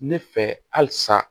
Ne fɛ halisa